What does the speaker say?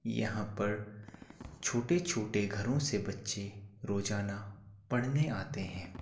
यहाँ पर छोटे छोटे घरों से बच्चे रोजाना पढ़ने आते हैं।